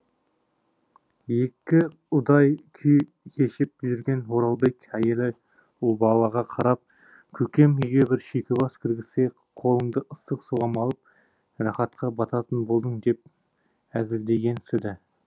екі ұдай күй кешіп жүрген оралбек әйелі ұлбалаға қарап көкем үйге бір шүйкебас кіргізсе қолыңды ыстық суға малып рахатқа бататын болдың деп әзілдегенсіді